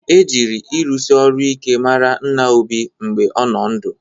E jịrị ịrụsị ọrụ ike mara nna Obi mgbe ọ nọ ndụ